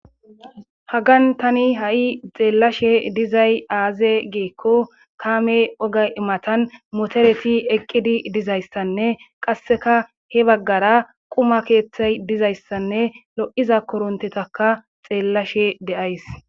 hagan tani ha7i xeellashe dizay aaze geekko kaame oga imatan motereti eqqidi dizayssanne qasseka he baggara quma keeththay dizayssanne lo7iza korontetaka xeellashe deays